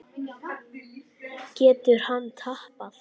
Getur hann tapað!